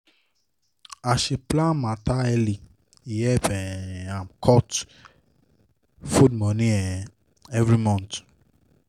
as she plan matter early e help um am cut food money um everymonth.